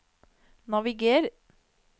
naviger